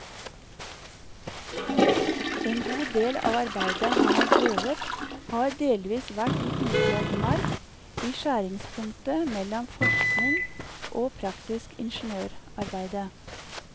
En god del av arbeidet han har drevet har delvis vært i upløyd mark i skjæringspunktet mellom forskning og praktisk ingeniørarbeide.